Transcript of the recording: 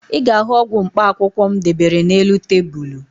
Ị ga-ahụ ọgwụ mkpaakwụkwọ m debere n'elu tebulu